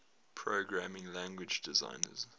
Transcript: programming language designers